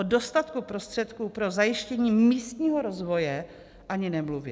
O dostatku prostředků pro zajištění místního rozvoje ani nemluvě.